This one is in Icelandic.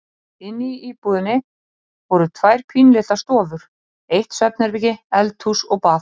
Inni í íbúðinni voru tvær pínulitlar stofur, eitt svefnherbergi, eldhús og bað.